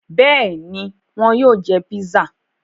Bẹ́ẹ̀ni, wọn yóò jẹ pizza.